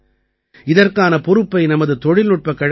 இதற்கான பொறுப்பை நமது தொழில்நுட்பக் கழகங்கள் ஐ